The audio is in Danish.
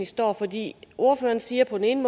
står fordi ordføreren siger på den ene